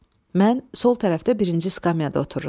Mən sol tərəfdə birinci skamyada otururam.